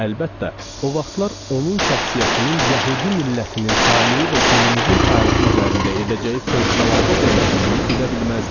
Əlbəttə, o vaxtlar onun şəxsiyyətinin yəhudi millətinin taleyi və günümüzün tarixi üzərində edəcəyi fövqəladə dəyişikliyi bilə bilməzdim.